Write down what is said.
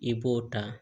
I b'o ta